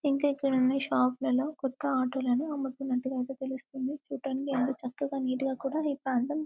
ఇంక ఇక్కడ ఈ షాప్ లో కొత్త ఆటో లను అమ్ముతున్నాటుయితే తెలుసుతుంది చూడడానికి ఎంతో చక్కగా నీట్ గా కూడా ఏర్పాటు --